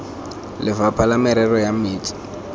lefapha la merero ya metsi